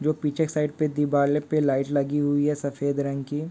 जो पिछे के साइड पे दिवाल पे लाइट हुई है सफेद रंग की--